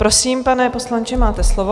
Prosím, pane poslanče, máte slovo.